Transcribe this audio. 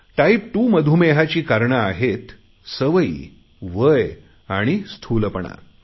type 2 मधुमेहाची कारणे आहेत सवयी वय स्थूलपणा